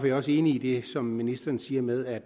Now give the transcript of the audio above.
jeg også enig i det som ministeren siger med at